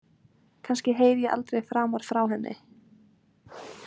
Kannski heyri ég aldrei framar frá henni.